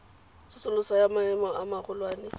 tsosoloso ya maemo a magolwane